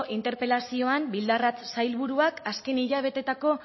interpelazioan bildarratz sailburuak azken hilabeteetako